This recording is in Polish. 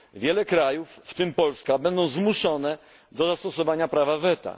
r. wiele krajów, w tym Polska, będzie zmuszonych do zastosowania prawa weta.